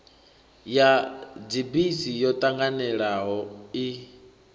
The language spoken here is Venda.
ya dzibisi yo ṱanganelano i